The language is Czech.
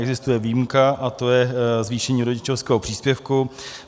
Existuje výjimka, a to je zvýšení rodičovského příspěvku.